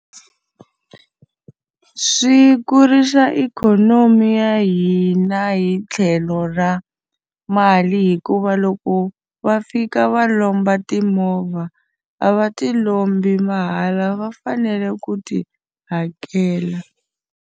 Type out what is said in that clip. Swi kurisa ikhonomi ya hina hi tlhelo ra mali hikuva loko va fika va lomba timovha, a va ti lombi mahala va fanele ku ti hakela.